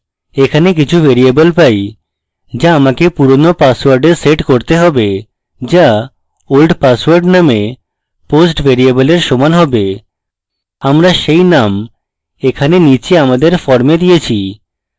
এখানে কিছু ভ্যারিয়েবল পাই যা আমাকে পুরানো পাসওয়ার্ডে set করতে have যা old password নামক post variable এর সমান have আমরা set name এখানে নীচে আমাদের form দিয়েছি